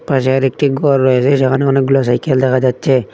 পাশে আরেকটি গর রয়েছে সেখানে অনেকগুলা সাইকেল দেখা যাচ্ছে।